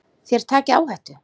Þér takið áhættu.